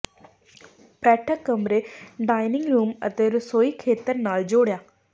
ਬੈਠਕ ਕਮਰੇ dining room ਅਤੇ ਰਸੋਈ ਖੇਤਰ ਨਾਲ ਜੋੜਿਆ